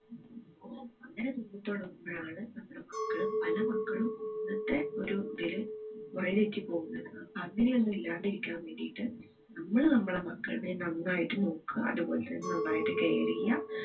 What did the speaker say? അങ്ങനെ തോന്നി തുടങ്ങുമ്പോഴാണ് നമ്മുടെ മക്കള് പല മക്കളും ഇന്നത്തെ ഒരു ഇതില് വഴി തെറ്റി പോകുന്നത് അപ്പോ അങ്ങനെ ഒന്നും ഇല്ലാണ്ടിരിക്കാൻ വേണ്ടിയിട്ട് നമ്മള് നമ്മളെ മക്കളെ നന്നായിട്ട് നോക്ക ആ അതുപോലെ തന്നെ നന്നായിട്ട് care ചെയ്യാ